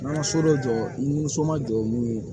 N ka so dɔ jɔ i ni so ma jɔ n'u ye